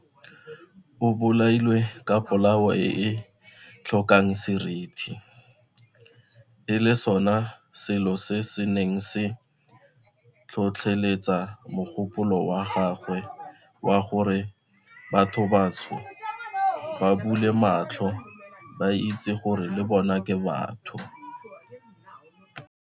O bolailwe ka polao e e tlhokang seriti, e leng sona selo se se neng se tlhotlheletsa mogopolo wa gagwe wa gore bathobantsho ba bule matlho ba itse gore le bona ke batho.